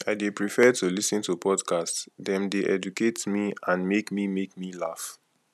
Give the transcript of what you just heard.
i dey prefer to lis ten to podcasts dem dey educate me and make me make me laugh